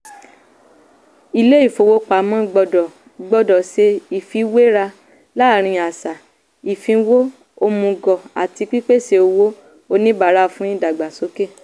ilé-ìfowópamọ́ gbọ́dọ̀ gbọ́dọ̀ ṣe ìfiwéra làárín àṣà ìfínwó òmùgọ̀ àti pípèsè owó oníbàárà fún ìdàgbàsókè.